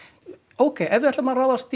ókei ef við ætlum að ráðast